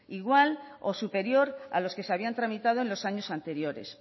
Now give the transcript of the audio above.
igual o superior a los que se habían tramitado en los años anteriores